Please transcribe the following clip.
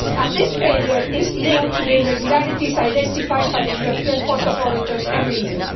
This failure is linked to the irregularities identified by the European Court of Auditors every year.